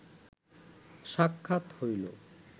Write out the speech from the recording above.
সাক্ষাৎ হইল